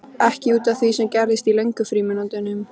Ekki út af því sem gerðist í löngu frímínútunum.